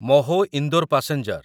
Mhow Indore passenger